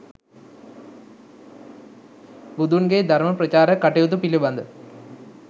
බුදුන්ගේ ධර්ම ප්‍රචාරක කටයුතු පිළිබඳ,